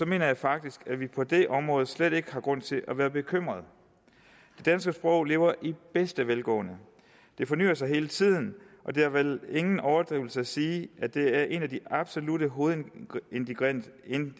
mener jeg faktisk at vi på det område slet ikke har grund til at være bekymrede det danske sprog lever i bedste velgående det fornyer sig hele tiden og det er vel ingen overdrivelse at sige at det er en af de absolutte hovedingredienser